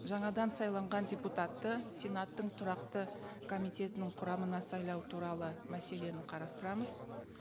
жаңадан сайланған депутатты сенаттың тұрақты комитетінің құрамына сайлау туралы мәселені қарастырамыз